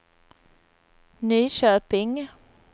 Nyköping